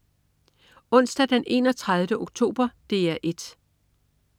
Onsdag den 31. oktober - DR 1: